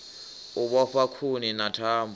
u vhofha khuni na thambo